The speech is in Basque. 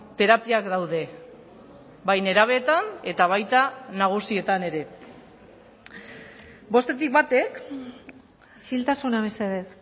terapiak daude bai nerabeetan eta baita nagusietan ere bostetik batek isiltasuna mesedez